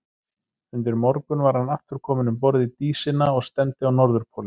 Undir morgun var hann aftur kominn um borð í Dísina og stefndi á Norðurpólinn.